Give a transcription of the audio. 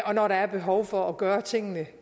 og når der er behov for at gøre tingene